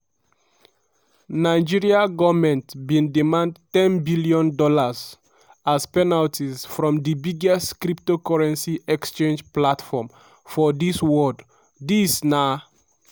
nigeria goment bin demand ten dollars billion dollars as penalties from di biggest cryptocurrency exchange platform for di world dis na